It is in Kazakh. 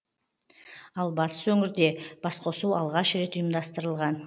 ал батыс өңірде басқосу алғаш рет ұйымдастырылған